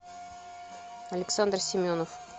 александр семенов